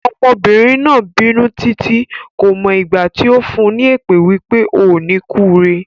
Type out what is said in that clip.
Ọmọbìnrin náà bínú títí, kò mọ ìgbà tí ó fún ní èpè wípé "O ò ní kúre".